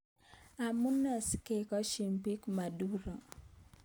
Amune sikoeshoi bik Maduro?